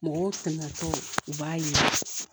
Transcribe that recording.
Mɔgɔw tɛmɛtɔ u b'a yira